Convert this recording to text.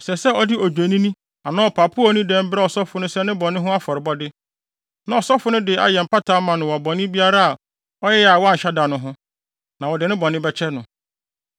Ɛsɛ sɛ ɔde odwennini anaa ɔpapo a onni dɛm brɛ ɔsɔfo sɛ ne bɔne no ho afɔrebɔde. Na ɔsɔfo no de ayɛ mpata ama no wɔ bɔne biara a ɔyɛe a wanhyɛ da no ho, na wɔde ne bɔne bɛkyɛ no.